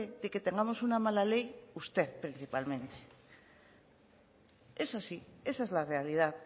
de que tengamos una mala ley es usted principalmente es así esa es la realidad